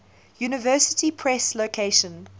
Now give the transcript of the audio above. university press location